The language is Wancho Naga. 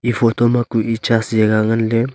e photo ma ku e church jaga ngunley--